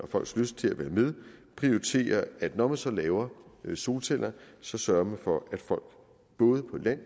folks lyst til at være med prioriterer at når man så laver solceller sørger man for at folk både på land